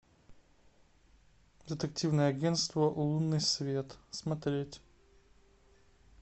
детективное агентство лунный свет смотреть